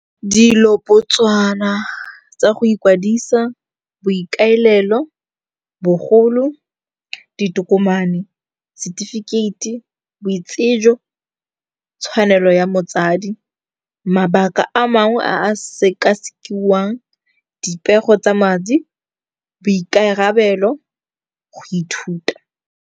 Dilopotswana tsa go ikwadisa, boikaelelo, bogolo, ditokomane, setefikeiti, boitsejo, tshwanelo ya motsadi, mabaka a mangwe a a sekasekiwang, dipego tsa madi, boikarabelo, go ithuta.